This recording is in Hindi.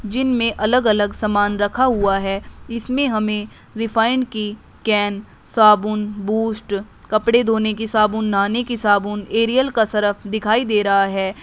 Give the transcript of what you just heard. जिनमें अलग अलग सामान रखा हुआ है। इसमें हमें रिफाइन की कैन साबुन बूस्ट कपड़े धोने की साबुन नहाने की साबुन एरियल का सरफ दिखाई दे रहा है।